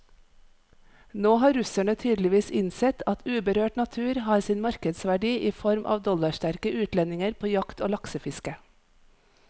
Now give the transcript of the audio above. Nå har russerne tydeligvis innsett at uberørt natur har sin markedsverdi i form av dollarsterke utlendinger på jakt og laksefiske.